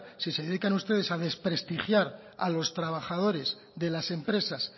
si se dedican ustedes a desprestigiar a los trabajadores de las empresas